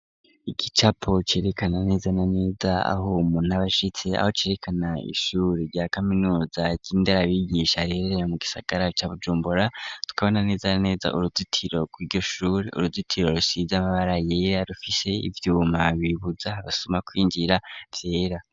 Igicapo, cerekana, neza na neza, aho umuntu aba ashitse; aho cerekana, ishure rya kaminuza, ry'indarabigisha, riherereye mu gisagara, ca Bujumbora; tukabona, neza na neza, uruzitiro rw'iryo shure, uruzitiro, rusize amabara yera, rufise ivyuma, bibuza abasuma kwinjira, vyera.